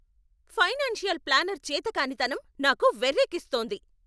Financial planner చేతకానితనం నాకు వెర్రెక్కిస్తోంది!